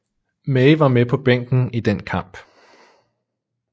May var med på bænken i den kamp